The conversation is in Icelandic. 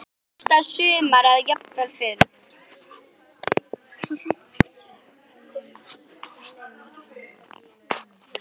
Næsta sumar eða jafnvel fyrr.